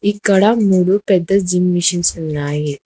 ఇక్కడ మూడు పెద్ద జిమ్ మిషన్స్ ఉన్నాయి.